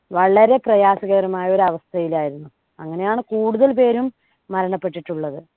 വളരെ പ്രയാസകരമായ ഒരു അവസ്ഥയിലായിരുന്നു. അങ്ങനെയാണ് കൂടുതൽ പേരും മരണപ്പെട്ടിട്ടുള്ളത്.